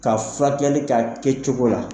Ka furakɛli kɛ a kɛ cogo la